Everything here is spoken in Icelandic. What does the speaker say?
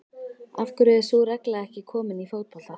Af hverju er sú regla ekki komin í fótbolta?